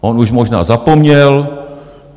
On už možná zapomněl.